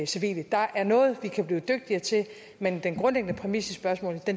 civile der er noget vi kan blive dygtigere til men den grundlæggende præmis i spørgsmålet